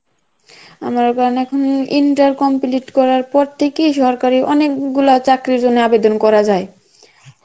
আমার inter complete করার পরথেকেই সরকারী অনেক গুলো চাকরির জন্যে আবেদন করা যায়